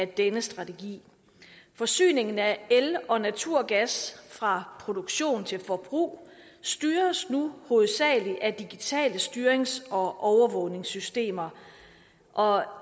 denne strategi forsyningen af el og naturgas fra produktion til forbrug styres nu hovedsagelig af digitale styrings og overvågningssystemer og